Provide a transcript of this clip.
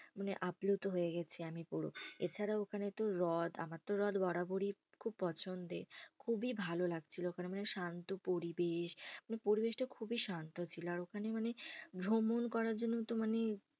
মানে আপ্লুত হয়ে গেছি আমি পুরো। এছাড়া ওখানে তো হ্রদ, আমার তো হ্রদ বরাবরই খুব পছন্দের। খুবই ভালো লাগছিলো ওখানে। মানে শান্ত পরিবেশ, মানে পরিবেশটা খুবই শান্ত ছিল। আর ওখানে মানে ভ্রমণ করার জন্য তো মানে